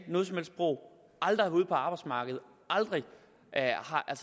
et sprog aldrig har været ude på arbejdsmarkedet